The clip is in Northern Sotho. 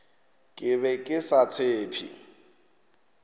ke be ke sa tshephe